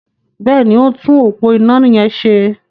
Bẹ́ẹ̀ni, ó ń tún òpó iná yẹn ṣe.